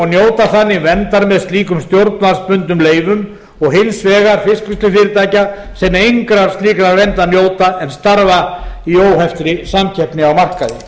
njóta þannig verndar með slíkum stjórnvaldsbundnum leyfum og hins vegar fiskvinnslufyrirtækja sem engrar slíkrar verndar njóta en starfa í óheftri samkeppni